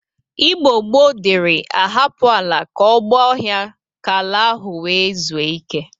Igbo gboo dịri ahapụ ala ka ọ gba ọhịa ka ala ahụ nwee zue ike.